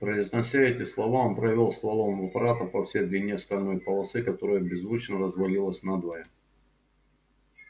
произнося эти слова он провёл стволом аппарата по всей длине стальной полосы которая беззвучно развалилась надвое